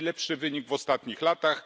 To najlepszy wynik w ostatnich latach.